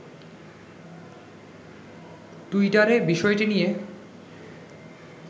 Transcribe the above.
টুইটারে বিষয়টি নিয়ে